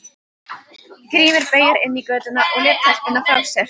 Grímur beygði inn í götuna og lét telpuna frá sér.